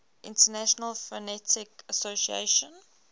international phonetic association